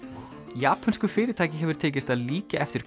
japönsku fyrirtæki hefur tekist að líkja eftir